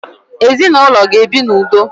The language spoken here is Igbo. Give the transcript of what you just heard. Ezinụlọ ga ebi na udo